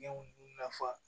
Ɲɛw nafa